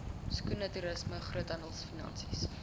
skoene toerisme groothandelfinansies